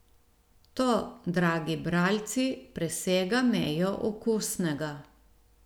To, dragi bralci, presega mejo okusnega.